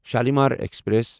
Shalimar express